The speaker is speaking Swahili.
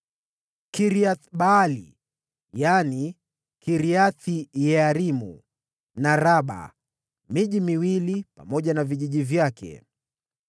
Kiriath-Baali (yaani Kiriath-Yearimu) na Raba; miji miwili pamoja na vijiji vyake.